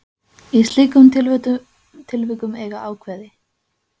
Í slíkum tilvikum eiga ákvæði